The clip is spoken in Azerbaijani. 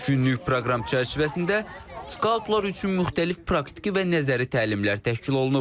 Üç günlük proqram çərçivəsində skautlar üçün müxtəlif praktiki və nəzəri təlimlər təşkil olunub.